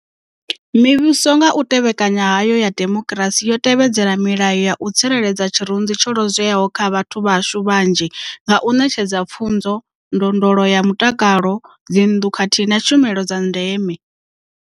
Mivhuso nga u tevhekana hayo ya demokirasi yo tevhedzela milayo ya u tsireledza tshirunzi tsho lozweaho tsha vhathu vhashu vhanzhi nga u ṋetshedza pfunzo, ndondolo ya mutakalo, dzinnḓu khathihi na tshumelo dza ndeme.